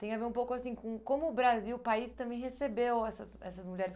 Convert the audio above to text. Tem a ver um pouco assim com como o Brasil, o país, também recebeu essas essas mulheres.